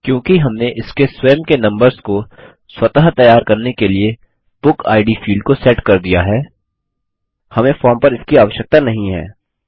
क्योंकि हमने इसके स्वयं के नम्बर्स को स्वत तैयार करने के लिए बुकिड फील्ड को सेट कर दिया है हमें फॉर्म पर इसकी आवश्यकता नहीं है